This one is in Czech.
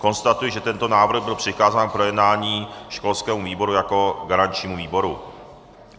Konstatuji, že tento návrh byl přikázán k projednání školskému výboru jako garančnímu výboru.